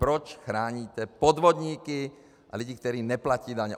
Proč chráníte podvodníky a lidi, kteří neplatí daně.